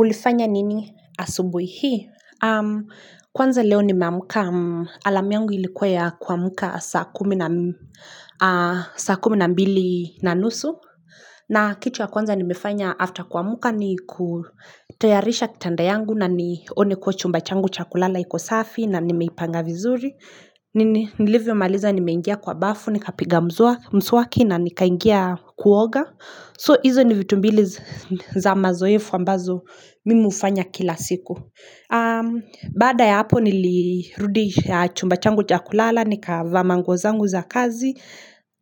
Ulifanya nini asubuhi hii? Kwanza leo nimeamka alarm yangu ilikuwa ya kuamka saa kumi na saa kumi na mbili na nusu. Na kitu ya kwanza nimefanya after kuamka ni kutayarisha kitanda yangu na nione kuwa chumba changu cha kulala iko safi na nimeipanga vizuri. Nilivyomaliza nimeingia kwa bafu, nikapiga mswaki na nikaingia kuoga. So hizo ni vitu mbili za mazoefu ambazo mimi hufanya kila siku Baada ya hapo nilirudi chumba changu cha kulala Nikavaa manguo zangu za kazi